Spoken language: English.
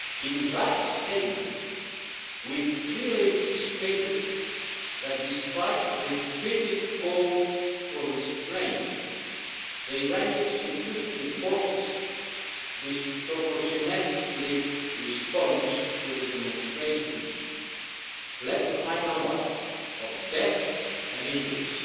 In that statement we clearly stated that despite repeated calls for restraint, the Iranian security forces' disproportionate response to the demonstrations led to a high number of deaths and injuries,